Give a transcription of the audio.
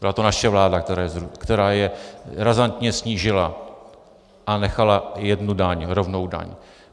Byla to naše vláda, která je razantně snížila a nechala jednu daň, rovnou daň.